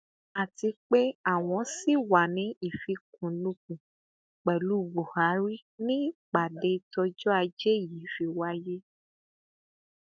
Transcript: àti pé àwọn ṣì wàá ní ìfikùnlukùn pẹlú buhari ni ìpàdé tọjọ ajé yìí fi wáyé